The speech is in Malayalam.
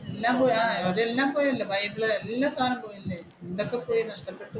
എന്തൊക്കെ പോയി നഷ്ടപ്പെട്ട് പോയി